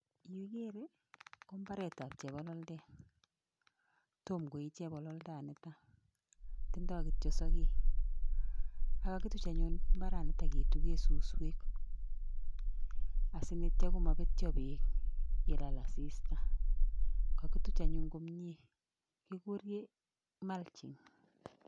Yu igere kombatet ab chebalaldet Tomo koyii chebalaldet niton tindo kityo sakek? aketuchenbimaranitonbsuswek sityo komavetyo bek yelal asista kakituch anyun komie kekuren(Cs( mulching